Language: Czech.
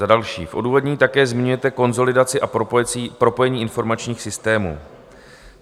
Za další - v odůvodnění také zmiňujete konsolidaci a propojení informačních systémů.